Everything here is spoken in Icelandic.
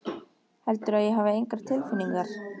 Heldurðu að ég hafi engar tilfinningar?